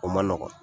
O man nɔgɔn